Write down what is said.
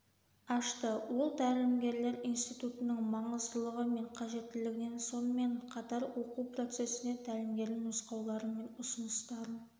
ашты ол тәлімгерлер институттың маңыздылығы мен қажеттілігін сонымен қатар оқу процесіне тәлімгердің нұсқаулары мен ұсыныстарын